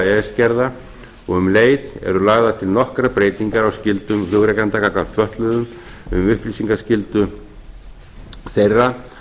s gerða og um leið eru lagðar til nokkrar breytingar á skyldum flugrekenda gagnvart fötluðum um upplýsingaskyldu þeirra